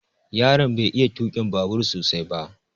Yaron bai iya tukin babur sosai ba